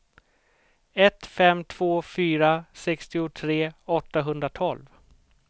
ett fem två fyra sextiotre åttahundratolv